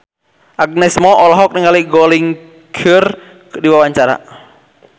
Agnes Mo olohok ningali Gong Li keur diwawancara